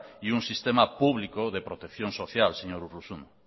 y un sistema público de protección social señor urruzuno